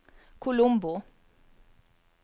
Colombo